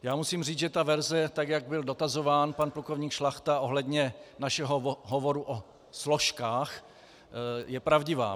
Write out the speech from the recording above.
Já musím říct, že ta verze, tak jak byl dotazován pan plukovník Šlachta ohledně našeho hovoru o složkách, je pravdivá.